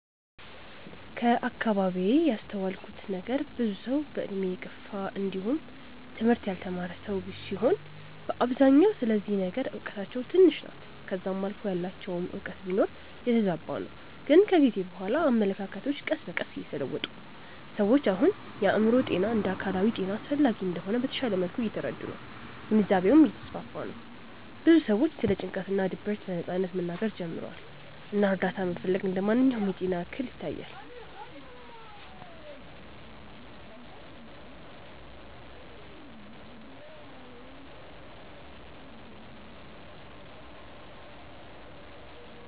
ከአከባቢዬ ያስተዋልኩት ነገር ብዙ ሰዉ በእድሜ የገፉ እንዲውም ትምህርት ያልተማረ ሰዉ ሲሆኑ በአብዛኛው ስለዚህ ነገር እውቀታቸው ትንሽ ናት ከዛም አልፎ ያላቸውም እውቀት ቢኖር የተዛባ ነው ግን ከጊዜ በኋላ አመለካከቶች ቀስ በቀስ እየተለወጡ ነው። ሰዎች አሁን የአእምሮ ጤና እንደ አካላዊ ጤና አስፈላጊ እንደሆነ በተሻለ መልኩ እየተረዱ ነው ግንዛቤውም እየተስፋፋ ነው ብዙ ሰዎችም ስለ ጭንቀት እና ድብርት በነጻነት መናገር ጀምረዋል እና እርዳታ መፈለግ እንደ ማንኛውም የጤና እክል ይታያል።